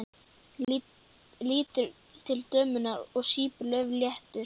Lítur til dömunnar og sýpur á, laufléttur.